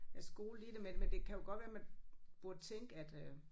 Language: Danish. Er skolet i det men men det kan jo godt være man burde tænke at øh